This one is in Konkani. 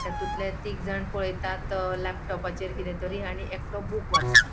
तातुल्ये तिगजाण पळयतात लपटॉपाचेर किदे तरी आणि एकटो बुक वाचता.